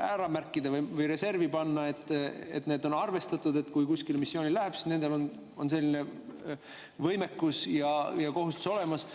ära märkida või reservi panna, et on arvestatud, et kui kuskile missioonile minnakse, siis nendel on selline võimekus ja kohustus olemas.